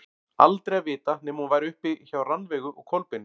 Aldrei að vita nema hún væri uppi hjá Rannveigu og Kolbeini.